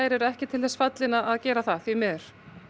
eru ekki til þess fallin til að gera það því miður